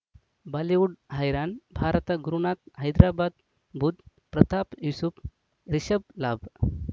Bollywood ಹೈರಾಣ ಭಾರತ ಗುರುನಾಥ ಹೈದರಾಬಾದ್ ಬುಧ್ ಪ್ರತಾಪ್ ಯೂಸುಫ್ ರಿಷಬ್ ಲಾಭ್